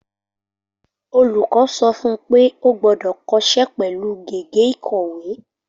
Olùkọ́ sọ fún pé o gbọ́dọ̀ kọsẹ́ pẹ̀lú gègé ìkọ̀wé.